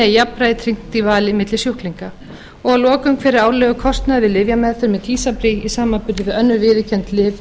jafnræði tryggt í vali milli sjúklinga fimmti hver er árlegur kostnaður við lyfjameðferð með tysabri í samanburði